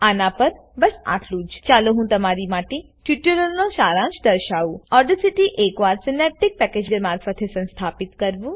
આના પર બસ આટલું જ ચાલો હું તમારી માટે ટ્યુટોરીયલનો શારાંશ દર્શાવું ઓડેસીટી એક વાર સીનેપટીક પેકેજ મારફતે સંસ્થાપિત કરવું